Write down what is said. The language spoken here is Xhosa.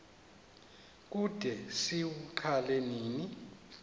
kude siwuqale nini